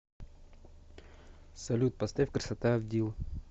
салют поставь красота авдил